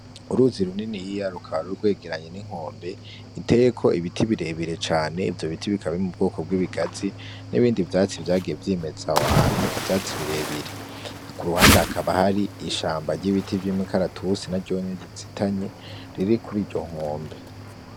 Uruzi runini yiya rukabari urwegeranye n'inkombe iteko ibiti birebire cane ivyo biti bikabime mu bwoko bw'ibigazi n'ibindi vyatsi vyage vyimeza abaantu ivyatsi birebire hako uruhande hakaba hari ishamba ry'ibiti vy'imikaratusi na ryonye gizitanye riri kuri iryo nkombe.